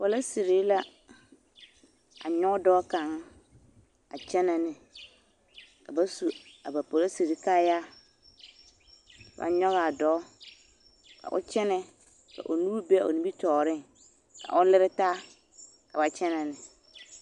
Polisiri la a nyɔge dɔɔ kaŋ a kyɛnɛ ne ka ba su a ba polisiri kaayaa, ka ba nyɔge a dɔɔ ka o kyɛnɛ ka o nuuri be o nimitɔɔreŋ ka o lere taa ka ba kyɛnɛ ne.